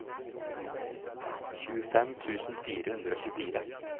tjuefem tusen fire hundre og tjuefire